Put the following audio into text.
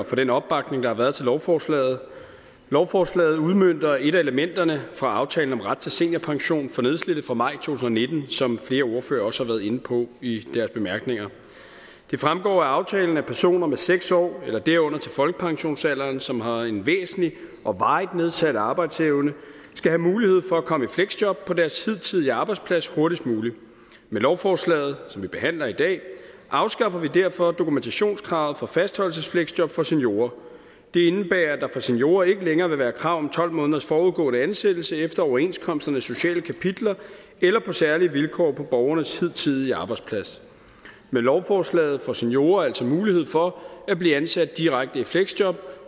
for den opbakning der har været til lovforslaget lovforslaget udmønter et af elementerne fra aftalen om ret til seniorpension for nedslidte fra maj to tusind og nitten som flere ordførere også har været inde på i deres bemærkninger det fremgår af aftalen at personer med seks år eller derunder til folkepensionsalderen som har en væsentlig og varig nedsat arbejdsevne skal have mulighed for at komme i fleksjob på deres hidtidige arbejdsplads hurtigst muligt med lovforslaget som vi behandler i dag afskaffer vi derfor dokumentationskravet på fastholdelsesfleksjob for seniorer det indebærer at der for seniorer ikke længere vil være et krav om tolv måneders forudgående ansættelse efter overenskomsternes sociale kapitler eller på særlige vilkår på borgernes hidtidige arbejdsplads med lovforslaget får seniorer altså mulighed for at blive ansat direkte i fleksjob